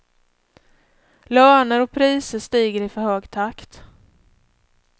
Löner och priser stiger i för hög takt.